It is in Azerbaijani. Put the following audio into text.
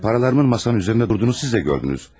Pularımın masanın üzərində durduğunu siz də gördünüz.